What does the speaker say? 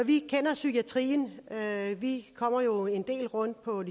vi kender psykiatrien vi kommer jo en del rundt på